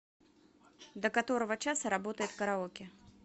до которого часа работает караоке